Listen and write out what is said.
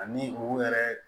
Ani u yɛrɛ